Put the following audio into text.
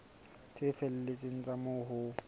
tse felletseng tsa moo ho